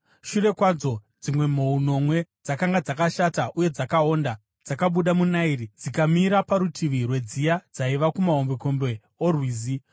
Shure kwadzo, dzimwe mhou nomwe, dzakanga dzakashata uye dzakaonda, dzakabuda muna Nairi, dzikamira parutivi rwedziya dzaiva kumahombekombe orwizi.